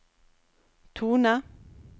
tone